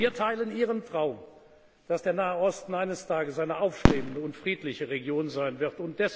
Wir teilen Ihren Traum, dass der Nahe Osten eines Tages eine aufstrebende und friedliche Region sein wird.